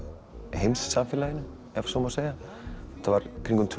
heimssamfélaginu ef svo má segja þetta var í kringum tvö